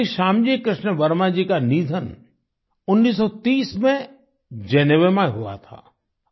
श्री श्यामजी कृष्ण वर्मा जी का निधन 1930 में जेनेवा में हुआ था